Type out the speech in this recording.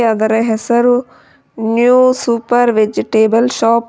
ಅದರ ಹೆಸರು new super vegetable shop .